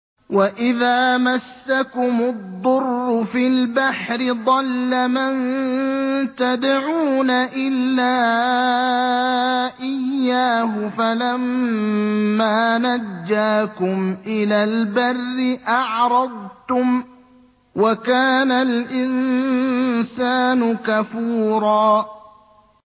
وَإِذَا مَسَّكُمُ الضُّرُّ فِي الْبَحْرِ ضَلَّ مَن تَدْعُونَ إِلَّا إِيَّاهُ ۖ فَلَمَّا نَجَّاكُمْ إِلَى الْبَرِّ أَعْرَضْتُمْ ۚ وَكَانَ الْإِنسَانُ كَفُورًا